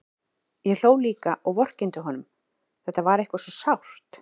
Ég hló líka og vorkenndi honum, þetta var eitthvað svo sárt.